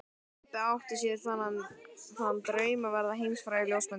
Pabbi átti sér þann draum að verða heimsfrægur ljósmyndari.